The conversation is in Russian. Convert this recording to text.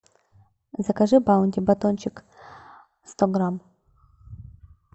закажи баунти батончик сто грамм